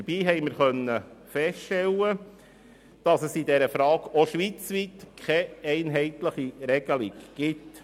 Dabei stellten wir fest, dass es auch schweizweit keine einheitliche Regelung gibt.